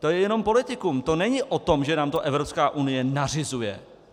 To je jenom politikum, to není o tom, že nám to Evropská unie nařizuje.